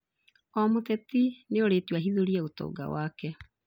O mũteti nĩerĩtwo ahithũrie ũtonga wake